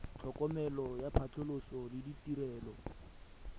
tlhokomelo ya phatlhoso le ditirelo